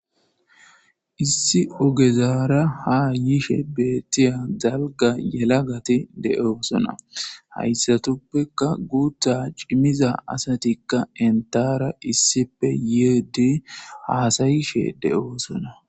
Issi ogezara haa yishe beettiya dalga yelagati de7oosona.hassatuppekka guutha cimmiya asatikka entaara issipe yiide haasa7ishe de7oosona.